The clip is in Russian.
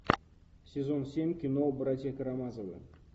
сезон семь кино братья карамазовы